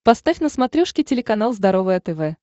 поставь на смотрешке телеканал здоровое тв